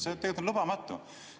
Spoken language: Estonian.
See on tegelikult lubamatu.